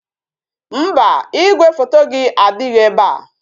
Mba, igwefoto gị adịghị ebe a